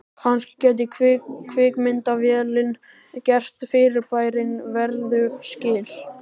Kannski gæti kvikmyndavélin gert fyrirbærinu verðug skil.